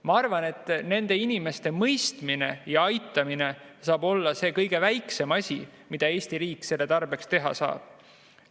Ma arvan, et nende inimeste mõistmine ja aitamine on see kõige väiksem asi, mida Eesti riik siin teha saab.